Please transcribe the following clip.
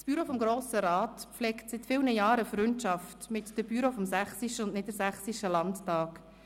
Das Büro des Grossen Rats pflegt seit vielen Jahren eine Freundschaft mit den Büros des Sächsischen und des Niedersächsischen Landtags.